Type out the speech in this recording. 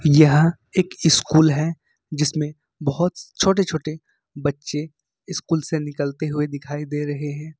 यहां एक स्कूल है जिसमें बहुत छोटे छोटे बच्चे स्कूल से निकलते हुए दिखाई दे रहे हैं।